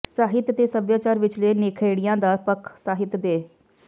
ਸਾਹਿਤ ਤੇ ਸਭਿਆਚਾਰ ਵਿਚਲੇ ਨਿਖੇੜਿਆ ਦਾ ਪੱਖ ਸਾਹਿਤ ਦੇ